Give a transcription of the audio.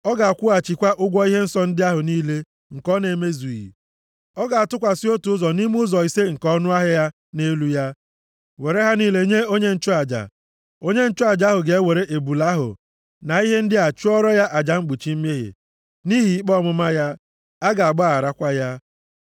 Ọ ga-akwụghachikwa ụgwọ ihe nsọ ndị ahụ niile nke ọ na-emezughị. Ọ ga-atụkwasị otu ụzọ nʼime ụzọ ise nke ọnụahịa ya nʼelu ya, were ha niile nye onye nchụaja. Onye nchụaja ahụ ga-ewere ebule ahụ na ihe ndị a chụọrọ ya aja mkpuchi mmehie, nʼihi ikpe ọmụma ya. A ga-agbagharakwa ya.